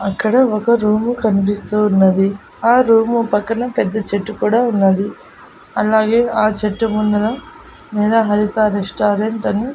అక్కడ ఒక రూం కనిపిస్తూ ఉన్నది ఆ రూము పక్కన పెద్ద చెట్టు కూడా ఉన్నది అలాగే ఆ చెట్టు ముందర లేదా హరిత రెస్టారెంట్ అని.